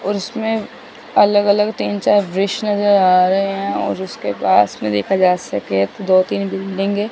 और इसमें अलग अलग तीन चार वृष नजर आ रहे हैं और उसके पास में देखा जा सके तो दो तीन बिल्डिंग है।